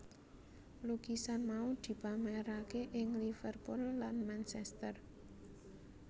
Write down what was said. Lukisan mau dipamerake ing Liverpool lan Manchester